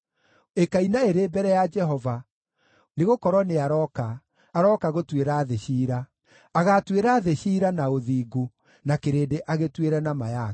ĩkaina ĩrĩ mbere ya Jehova, nĩgũkorwo nĩarooka, arooka gũtuĩra thĩ ciira. Agaatuĩra thĩ ciira na ũthingu, na kĩrĩndĩ agĩtuĩre na ma yake.